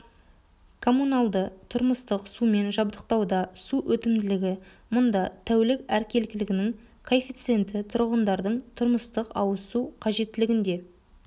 коммуналды-тұрмыстық сумен жабдықтауда су өтімділігі мұнда тәулік әркелкілігінің коэффициенті тұрғындардың тұрмыстық-ауызсу қажеттілігінде